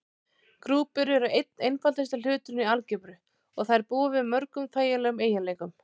Grúpur eru einn einfaldasti hluturinn í algebru og þær búa yfir mörgum þægilegum eiginleikum.